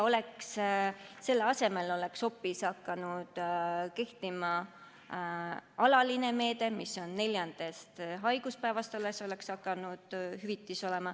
Selle asemel oleks hoopis hakanud kehtima alaline kord, et neljandast haiguspäevast makstakse hüvitist.